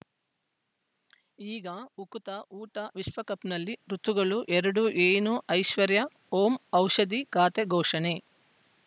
ಈಗ ಉಕುತ ಊಟ ವಿಶ್ವಕಪ್‌ನಲ್ಲಿ ಋತುಗಳು ಎರಡು ಏನು ಐಶ್ವರ್ಯಾ ಓಂ ಔಷಧಿ ಖಾತೆ ಘೋಷಣೆ